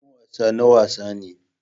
Filin wasa na wasa ne.